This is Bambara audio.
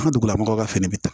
An ka dugulamɔgɔw ka fɛnɛ bɛ ta